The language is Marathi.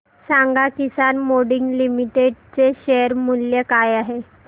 सांगा किसान मोल्डिंग लिमिटेड चे शेअर मूल्य काय आहे